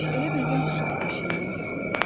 Elə bildim uşaq beşiyindən yıxıldı.